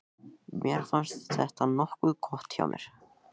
Mér fannst þetta nokkuð gott hjá mér.